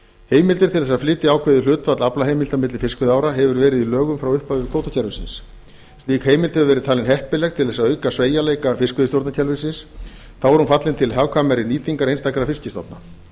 heimildir til að flytja ákveðið hlutfall aflaheimilda milli fiskveiðiára hefur meira í lögum frá upphafi kvótakerfisins slík heimild hefur verið talin heppileg til að auka sveigjanleika fiskveiðistjórnarkerfisins þá er hún fallin til nýtingar einstakra fiskstofna